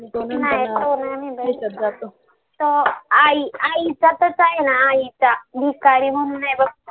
नाही तो नाही बघितला तो आई आई चा आहे ना आईचा भिकारी म्हणून आहे बघ